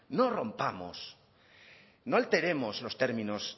no rompamos no alteremos los términos